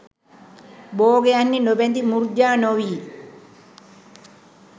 භෝගයන් හි නොබැඳි මුර්ජා නොවී